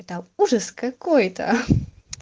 там ужас какой-то